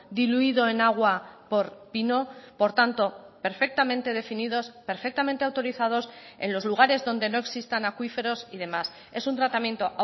diluido en agua por pino por tanto perfectamente definidos perfectamente autorizados en los lugares donde no existan acuíferos y demás es un tratamiento